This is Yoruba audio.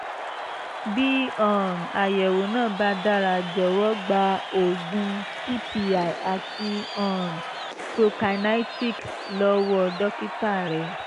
bí um àyẹ̀wò náà bá dára jọ̀wọ́ gba oògùn ppi àti um prokinetics lọ́wọ́ dókítà rẹ